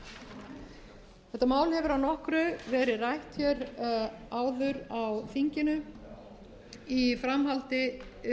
þetta mál hefur að nokkru verið rætt hér áður á þinginu í framhaldi